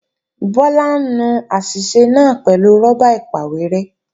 Bọ́lá ń nu àṣìṣe náà pẹ̀lú rọ́bà ìpàwérẹ́